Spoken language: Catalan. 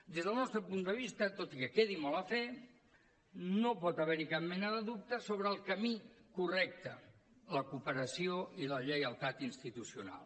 des del nostre punt de vista tot i que quedi molt a fer no pot haver hi cap mena de dubte sobre el camí correcte la cooperació i la lleialtat institucional